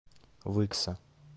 выкса